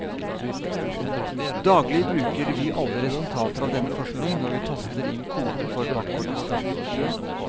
Daglig bruker vi alle resultater av denne forskning når vi taster inn koden for bankkortet vårt.